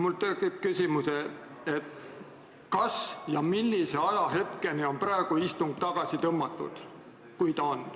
Mul tekkis küsimus, kas ja millise ajahetkeni on praegu istung n-ö tagasi tõmmatud, kui ta seda on.